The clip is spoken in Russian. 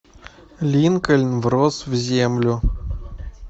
линкольн врос в землю